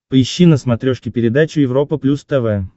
поищи на смотрешке передачу европа плюс тв